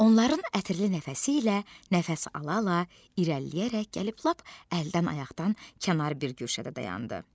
Onların ətirli nəfəsi ilə nəfəs ala-ala irəliləyərək gəlib lap əldən-ayaqdan kənar bir güşədə dayandı.